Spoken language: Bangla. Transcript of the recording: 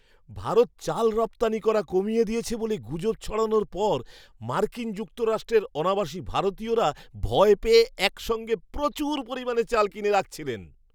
ভারত চাল রপ্তানি করা কমিয়ে দিয়েছে বলে গুজব ছড়ানোর পর মার্কিন যুক্তরাষ্ট্রের অনাবাসী ভারতীয়রা ভয় পেয়ে একসঙ্গে প্রচুর পরিমাণে চাল কিনে রাখছিলেন।